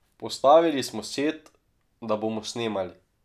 Postavili smo set, da bomo snemali.